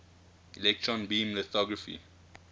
electron beam lithography